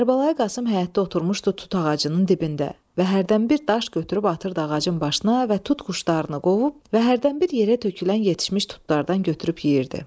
Kərbəlayi Qasım həyətdə oturmuşdu tut ağacının dibində və hərdən bir daş götürüb atırdı ağacın başına və tut quşlarını qovub və hərdən bir yerə tökülən yetişmiş tutlardan götürüb yeyirdi.